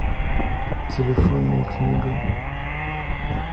телефонная книга